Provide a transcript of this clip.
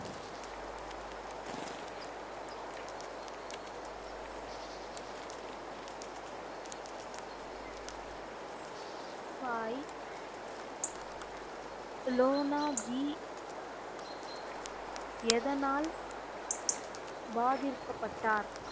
பாய் லோனா ஜி எதனால் பாதிற்க்கப்பட்டார்?